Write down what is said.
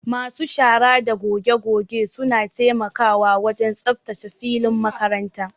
Masu shara da goge goge suna taimakawa wajen tsaftace filin makaranta.